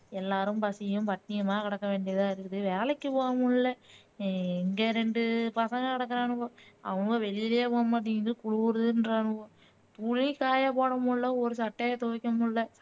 எல்லாரும் பசியும் பட்டினியுமா கிடக்க வேண்டியதா இருக்குது வேலைக்கு போக முடியல இங்க ரெண்டு பசங்க கிடக்குறானுங்க அவனுவ வெளிலயே போக மாட்டேங்குது குளுருதுன்றானுவ துணி காய போட முடியல ஒரு சட்டைய துவைக்க முடியல